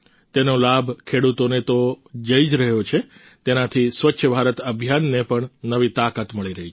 તેનો લાભ ખેડૂતોને તો થઈ જ રહ્યો છે તેનાથી સ્વચ્છ ભારત અભિયાનને પણ નવી તાકાત મળી રહી છે